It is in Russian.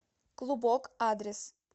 клубок адрес